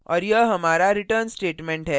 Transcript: और यह हमारा return statement है